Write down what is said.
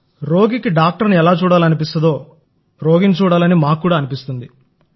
రోగికి డాక్టర్ని చూడాలని అనిపిస్తే రోగిని చూడాలని మాకు కూడా అనిపిస్తుంది